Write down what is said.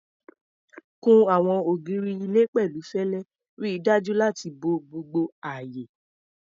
Kun àwọn ògiri ilé pẹ̀lú fẹlẹ, ríi dájú láti bo gbogbo ààyè.